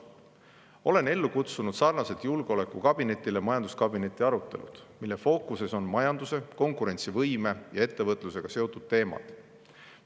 Olen ellu kutsunud sarnaselt julgeolekukabinetiga majanduskabineti arutelud, mille fookuses on majanduse, konkurentsivõime ja ettevõtlusega seotud teemad.